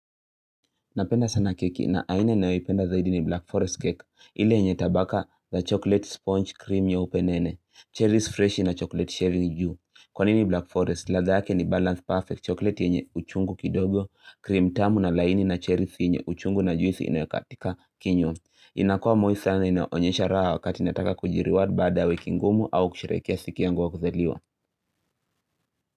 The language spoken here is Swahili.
Napenda sana keki na aina ninayoipenda zaidi ni Black Forest cake, ili yenye tabaka la chocolate sponge cream nyeupe nene, cherries fresh na chocolate shaving juu. Kwa nini Black Forest, ladhaa yake ni balance perfect, chocolate yenye uchungu kidogo, cream tamu na laini na cherries yenye uchungu na juisi inayokatika kinywa. Inakua moist sana inaonyesha raha wakati nataka kujireward baada wiki ngumu au kusherekea siku yangu wa kuzaliwa.